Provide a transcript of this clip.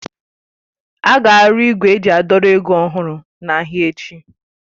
Ága arụ igwe eji a dọrọ ego ọhụrụ n'ahịa echi.